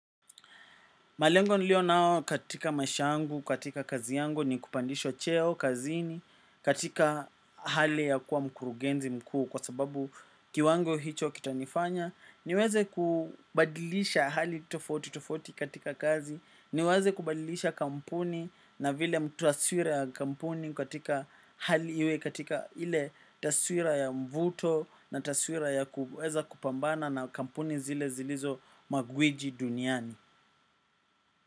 Malengo nilionao katika maisha yangu, katika kazi yangu ni kupandishwa cheo, kazini, katika hali ya kuwa mkurugenzi mkuu kwa sababu kiwango hicho kitanifanya. Niweze kubadilisha hali tofauti tofauti katika kazi. Niweze kubadilisha kampuni na vile mtaswira ya kampuni katika hali iwe katika hile taswira ya mvuto na taswira ya kuweza kupambana na kampuni zile zilizo magwiji duniani.